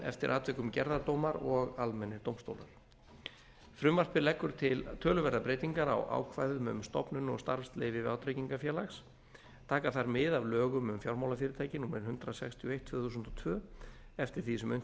eftir atvikum gerðardómar og almennir dómstólar frumvarpið leggur til töluverðar breytingar á ákvæðum um stofnun og starfsleyfi vátryggingafélags taka þær mið af lögum um fjármálafyrirtæki númer hundrað sextíu og eitt tvö þúsund og tvö eftir því sem unnt